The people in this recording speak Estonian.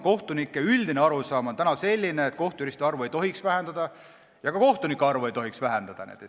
Kohtunike üldine arusaam on, et kohtujuristide arvu ei tohiks vähendada ja ka kohtunike arvu ei tohiks vähendada.